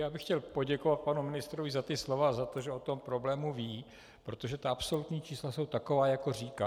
Já bych chtěl poděkovat panu ministrovi za ta slova a za to, že o tom problému ví, protože ta absolutní čísla jsou taková, jak říkal.